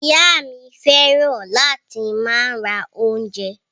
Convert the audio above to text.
Ìyá mi fẹ́ràn láti máa ra oúnjẹ.